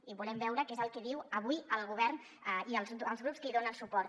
i volem veure què és el que diuen avui el govern i els grups que hi donen suport